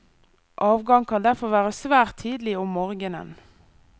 Avgang kan derfor være svært tidlig om morgenen.